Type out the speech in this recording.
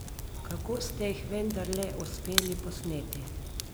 Kako ste jih vendarle uspeli posneti?